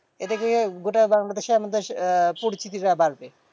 এতে কি হয়? গোটা বাংলাদেশে আমাদের আহ পরিচিতিটা বাড়বে।